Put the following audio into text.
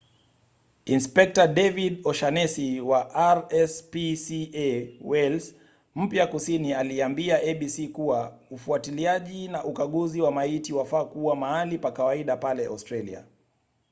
inspekta david o’shannesy wa rspca wales mpya kusini aliambia abc kuwa ufuatiliaji na ukaguzi wa maiti wafaa kuwa mahali pa kawaida pale australia